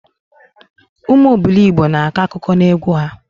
Ụmụ obilogbo na-akọ akụkọ na egwu ha